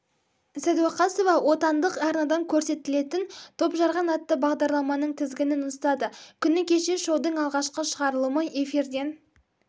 сәдуақасова отандық арнадан көрсетілетін топжарған атты бағдарламаның тізгінін ұстады күні кеше шоудың алғашқы шығарылымы эфирден